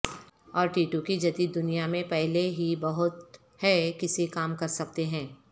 اور ٹیٹو کی جدید دنیا میں پہلے ہی بہت ہے کسی کام کرسکتے ہیں